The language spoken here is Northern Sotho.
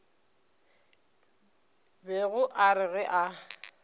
bego a re ge a